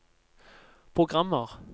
programmer